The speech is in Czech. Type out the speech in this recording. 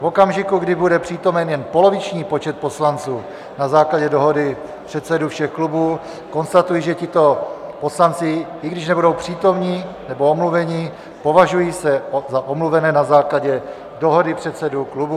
V okamžiku, kdy bude přítomen jen poloviční počet poslanců, na základě dohody předsedů všech klubů konstatuji, že tito poslanci, i když nebudou přítomni nebo omluveni, považují se za omluvené na základě dohody předsedů klubů.